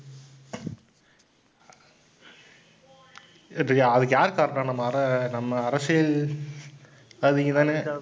அதுக்கு யார் காரணம் நம்ம அர~ நம்ம அரசியல்வாதிங்க தானே?